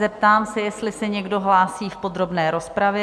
Zeptám se, jestli se někdo hlásí v podrobné rozpravě?